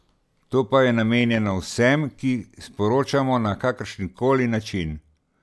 To pa je namenjeno vsem, ki sporočamo na kakršenkoli način.